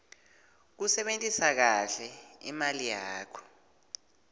kusebentisa kahle imali yakho